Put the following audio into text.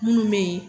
Minnu bɛ yen